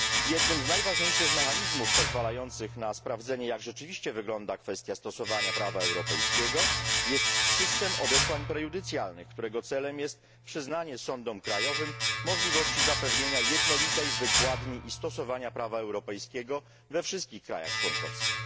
Jednym z najważniejszych mechanizmów pozwalających na sprawdzenie, jak rzeczywiście wygląda kwestia stosowania prawa europejskiego, jest system odesłań prejudycjalnych, którego celem jest przyznanie sądom krajowym możliwości zapewnienia jednolitej wykładni i stosowania prawa europejskiego we wszystkich krajach członkowskich.